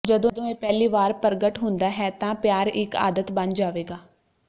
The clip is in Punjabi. ਜਦੋਂ ਇਹ ਪਹਿਲੀ ਵਾਰ ਪ੍ਰਗਟ ਹੁੰਦਾ ਹੈ ਤਾਂ ਪਿਆਰ ਇੱਕ ਆਦਤ ਬਣ ਜਾਵੇਗਾ